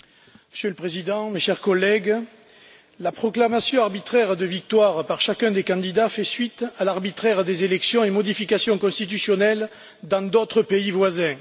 Monsieur le Président, mes chers collègues, la proclamation arbitraire de victoire par chacun des candidats fait suite à l'arbitraire des élections et modifications constitutionnelles dans d'autres pays voisins.